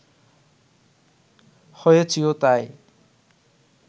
হয়েছিও তাই